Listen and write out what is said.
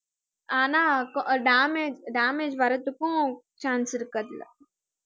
ஆனா கொ~ ஆஹ் damage damage வர்றதுக்கும் chance இருக்கு அதுல